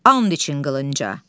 And için qılınca.